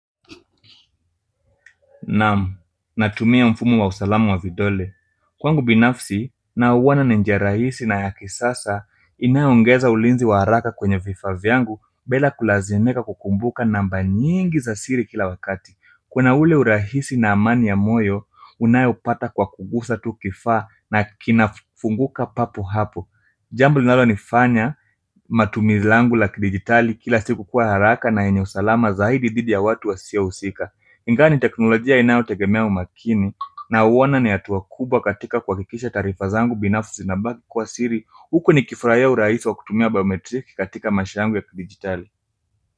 Naam, natumia mfumo wa usalama wa vidole. Kwangu binafsi, nauona ni njia rahisi na ya kisasa, inayo ongeza ulinzi wa haraka kwenye vifaa vyangu, bela kulazimika kukumbuka namba nyingi za siri kila wakati. Kuna ule urahisi na amani ya moyo, unayopata kwa kugusa tu kifaa na kinafunguka papo hapo. Jambo linalo nifanya, matumizi langu la kidijitali kila siku kuwa haraka na yenye salama zaidi dhidi ya watu wasiohusika. Ingawa ni teknolojia inayotegemea umakini, nauona ni hatua kubwa katika kuhakikisha taarifa zangu binafsi zinabaki kuwa siri huku nikifurahia kutumia urahisi wa kutumia biometriki katika maisha yangu ya kidijitali.